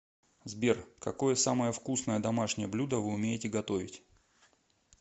сбер какое самое вкусное домашнее блюдо вы умеете готовить